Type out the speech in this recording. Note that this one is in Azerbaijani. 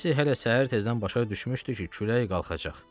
Kaşşi hələ səhər tezdən başa düşmüşdü ki, külək qalxacaq.